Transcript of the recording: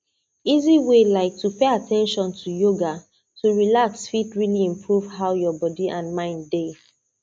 easy way like to pay at ten tion to yoga to relax fit really improve how your body and mind dey